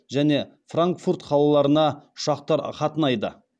және франкфурт қалаларына ұшақтар қатынайды